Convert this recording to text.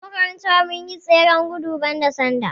A makaranta mun yi tseren gudun bada sanda